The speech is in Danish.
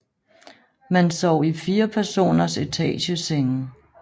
Man sov i fire personers etagesenge